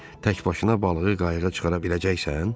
Tək başına balığı qayıqa çıxara biləcəksən?